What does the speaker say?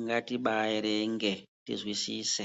ngatibaiverenge tinzwisise.